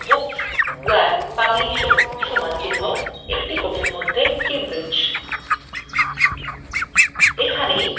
from books